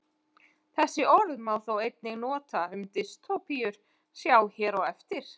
Það orð má þó einnig nota um dystópíur, sjá hér á eftir.